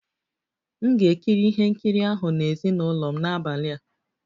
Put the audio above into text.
M ga-ekiri ihe nkiri ahụ na ezinụlọ m n'abalị a